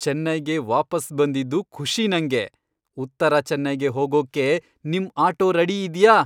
ಚೆನ್ನೈಗೆ ವಾಪಸ್ ಬಂದಿದ್ದು ಖುಷೀ ನಂಗೆ. ಉತ್ತರ ಚೆನ್ನೈಗೆ ಹೋಗೋಕ್ಕೆ ನಿಮ್ ಆಟೋ ರೆಡಿ ಇದ್ಯಾ?